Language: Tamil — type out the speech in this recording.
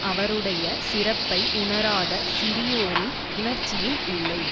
அவருடைய சிறப்பை உணராத சிறியோரின் உணர்ச்சியில் இல்லை